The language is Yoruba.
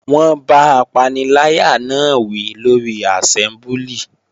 Wọ́n bá apaniláyà náà wí lórí àsẹ́mbúlì